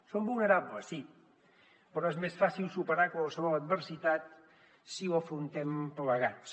som vulnerables sí però és més fàcil superar qualsevol adversitat si ho afrontem plegats